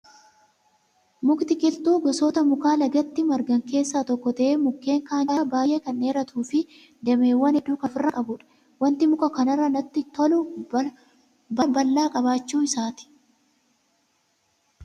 Mukti qilxuu gosoota mukaa lagatti margan keessaa tokko ta'ee mukkeen kaan caalaa baay'ee kan dheeratuu fi dameewwan hedduu kan ofirraa qabudha. Wanti muka kanarraa natti tolu baala bal'aa qabaachuu isaati